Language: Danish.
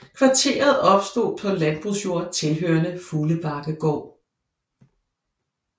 Kvarteret opstod på landbrugsjord tilhørende Fuglebakkegård